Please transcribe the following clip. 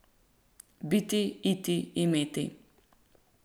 Biti, iti, imeti.